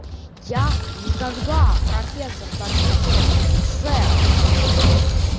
я никогда профессор дамблдор сэр